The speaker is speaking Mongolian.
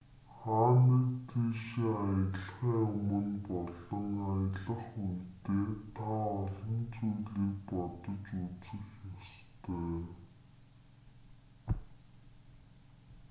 хаа нэг тийшээ аялахын өмнө болон аялах үедээ та олон зүйлийг бодож үзэх ёстой